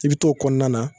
I bi t'o kɔnɔna na